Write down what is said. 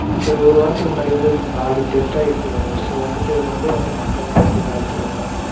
ஒரு~ஒரு வாரத்துக்கு முன்னாடி வந்து நாலு death ஆகியிருக்கு, so வந்துட்டு ரெம்ப வந்து மக்கள்ளாம் வந்து பயத்துல இருகாங்க,